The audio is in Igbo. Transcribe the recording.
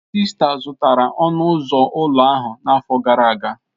Sista zụtara ọnụ ụzọ ụlọ ahụ n'afọ gara aga.